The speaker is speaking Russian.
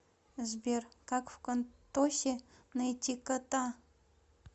сбер как вконтосе найти кота